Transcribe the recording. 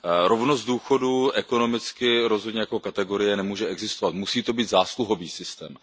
Rovnost důchodů ekonomicky rozhodně jako kategorie nemůže existovat, musí to být zásluhový systém.